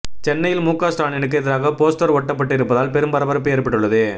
சென்னையில் முக ஸ்டாலினுக்கு எதிராக போஸ்டர் ஒட்டப்பட்டு இருப்பதால் பெரும் பரபரப்பு ஏற்பட்டுள்ளது